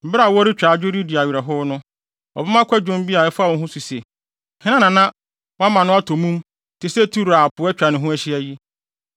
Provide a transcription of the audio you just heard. Bere a wɔretwa adwo redi awerɛhow no wɔbɛma kwadwom bi a ɛfa wo ho so se: “Hena na wama no atɔ mum te sɛ Tiro a po atwa ne ho ahyia yi?”